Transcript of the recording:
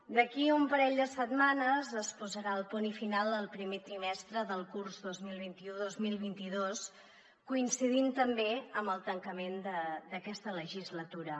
d’aquí a un parell de setmanes es posarà el punt i final al primer trimestre del curs dos mil vint dos mil vint u coincidint també amb el tancament d’aquesta legislatura